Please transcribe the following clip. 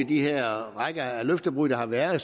i den her række af løftebrud der har været